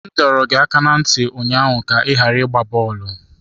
M dọrọ gị aka ná ntị ụnyaahụ ka ị ghara ịgba bọọlụ!